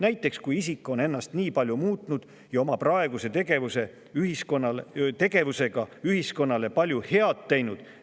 Näiteks kui isik on ennast palju muutnud ja oma praeguse tegevusega ühiskonnale palju head teinud.